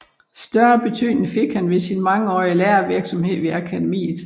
Større betydning fik han ved sin mangeårige lærervirksomhed ved Akademiet